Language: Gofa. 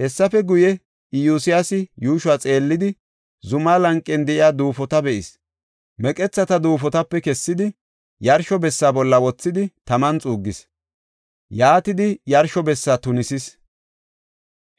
Hessafe guye, Iyosyaasi yuushuwa xeellidi, zumaa lanqen de7iya duufota be7is; meqethata duufotape kessidi, yarsho bessa bolla wothidi, taman xuuggis. Yaatidi yarsho bessa tunisis.